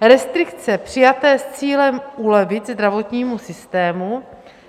Restrikce přijaté s cílem ulevit zdravotnímu systému